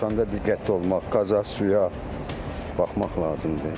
Evdən çıxanda diqqətli olmaq, qazı suya baxmaq lazımdır.